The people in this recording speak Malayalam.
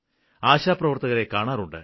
ആശാപ്രവര്ത്തകരെ കാണാറുണ്ട്